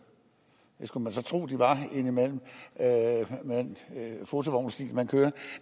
det skulle man så tro de var indimellem med den fotovognsstil de kører